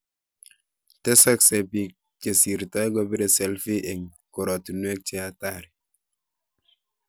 Tesasksei biik chesirtoi kobire selfi eng koratinwek che hatari